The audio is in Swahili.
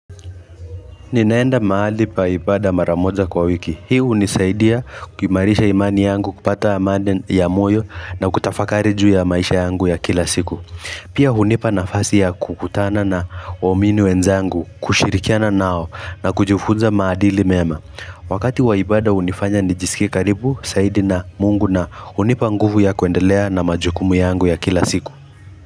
Ninaenda mahali pa ibada mara moja kwa wiki. Hii hunisaidia kuimarisha imani yangu kupata amaniden ya moyo na kutafakari juu ya maisha yangu ya kila siku. Pia hunipa nafasi ya kukutana na waumini wenzangu, kushirikiana nao na kujifunza maadili mema. Wakati waibada hunifanya nijisikie karibu, saidi na mungu na hunipa nguvu ya kuendelea na majukumu yangu ya kila siku.